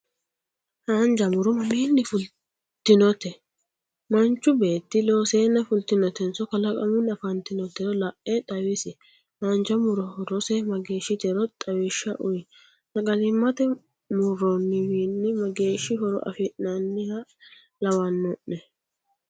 haanja murro mamiinni fulitinotte? manchu beetti looseena fulitinottenso kalaqamunni afanitinoterro la'e xawisi? haanja murro horose mageeshitero xawishsha uyi? sagalimate murronniwiini mageeshi horo afi'nanniha lawano'ne?